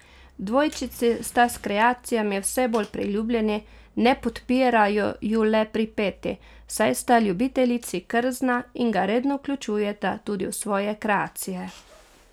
Dvojčici sta s kreacijami vse bolj priljubljeni, ne podpirajo ju le pri Peti, saj sta ljubiteljici krzna in ga redno vključujeta tudi v svoje kreacije.